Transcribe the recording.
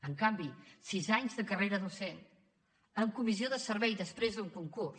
en canvi sis anys de carrera docent amb comissió de servei després d’un concurs